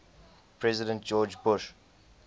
president george bush